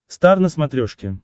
стар на смотрешке